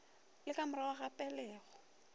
le ka morago ga pelego